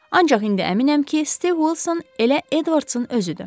Ancaq indi əminəm ki, Stiv Vilson elə Edvardsın özüdür.